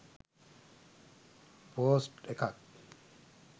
post එකක්